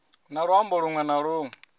na luambo lunwe na lunwe